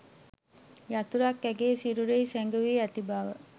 යතුරක් ඇගේ සිරුරෙහි සැඟවී ඇති බව